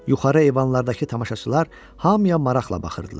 Yuxarı eyvanlardakı tamaşaçılar hamıya maraqla baxırdılar.